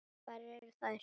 Hvar eru þær?